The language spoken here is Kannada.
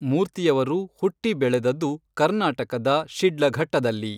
ಮೂರ್ತಿಯವರು ಹುಟ್ಟಿ ಬೆಳೆದದ್ದು ಕರ್ನಾಟಕದ ಶಿಡ್ಲಘಟ್ಟದಲ್ಲಿ.